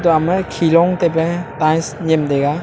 atoh ama khe long taipe tails yem taiga.